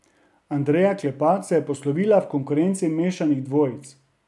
Andreja Klepač se je poslovila v konkurenci mešanih dvojic.